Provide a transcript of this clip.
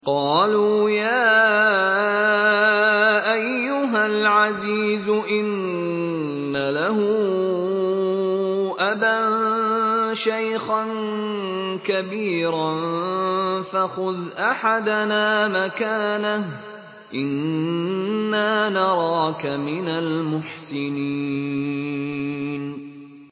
قَالُوا يَا أَيُّهَا الْعَزِيزُ إِنَّ لَهُ أَبًا شَيْخًا كَبِيرًا فَخُذْ أَحَدَنَا مَكَانَهُ ۖ إِنَّا نَرَاكَ مِنَ الْمُحْسِنِينَ